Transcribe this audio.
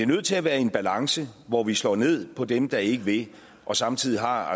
nødt til at være i en balance hvor vi slår ned på dem der ikke vil og samtidig har